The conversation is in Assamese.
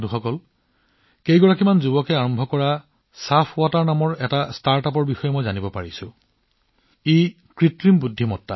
বন্ধুসকল মই চাফৱাটাৰ নামৰ এটা ষ্টাৰ্ট আপৰ বিষয়ে জানিবলৈ পাইছো যিটো কিছুমান যুৱকে আৰম্ভ কৰিছে